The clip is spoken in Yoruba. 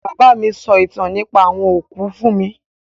Bàbá mi sọ ìtàn nípa àwọn òkú fún mi